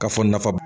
Ka fɔ nafa b